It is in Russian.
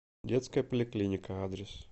детская поликлиника адрес